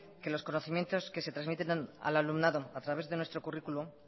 que los conocimientos que se trasmiten a los alumnos a través de nuestro currículum